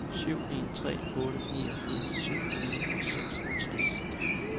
syv en tre otte niogfirs syv hundrede og seksogtres